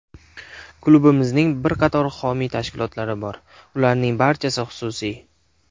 Klubimizning bir qator homiy tashkilotlari bor, ularning barchasi xususiy.